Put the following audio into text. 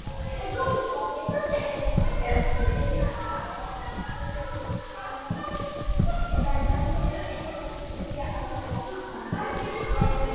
Það getur verið til vina eða vinnufélaga, eða jafnvel einhvers þriðja aðila af gagnstæðu kyni.